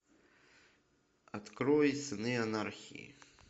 открой сыны анархии